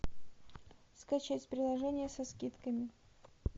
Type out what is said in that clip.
скачать приложение со скидками